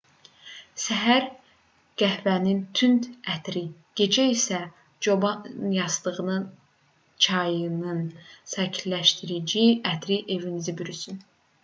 səhər qəhvənin tünd ətri gecə isə çobanyastığı çayının sakitləşdirici ətri evinizi bürüsün